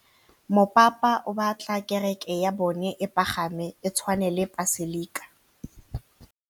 Mopapa o batla kereke ya bone e pagame, e tshwane le paselika.